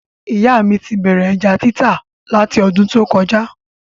Ìyá mí ti bẹ̀rẹ̀ ẹja títà lati ọdún tó kọjá